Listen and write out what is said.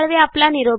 यांनी दिलेला आहे